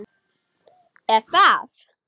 Ekki það.?